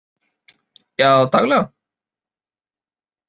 Já daglega.